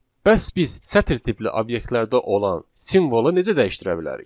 Bəs biz sətr tipli obyektlərdə olan simvolu necə dəyişdirə bilərik?